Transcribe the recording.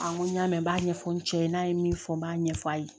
n ko n y'a mɛn n b'a ɲɛfɔ n cɛ ye n'a ye min fɔ n b'a ɲɛ f'a ye